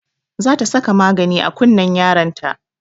Za ta saka magani a kunnen yaron ta